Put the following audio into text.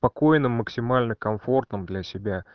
спокойном максимально комфортным для себя